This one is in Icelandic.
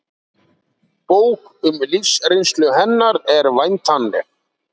Bók um lífsreynslu hennar er væntanleg